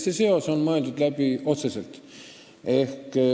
See seos on otseselt läbi mõeldud.